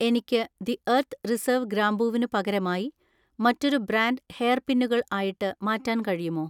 എനിക്ക് the Earth Reserve ഗ്രാമ്പൂവിനു പകരമായി മറ്റൊരു ബ്രാൻഡ് ഹെയർ പിന്നുകൾ ആയിട്ട് മാറ്റാൻ കഴിയുമോ?